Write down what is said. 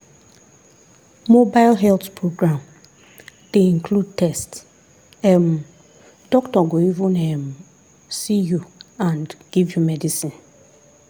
mobile health program dey include test um doctor go even um see you and give you medicine.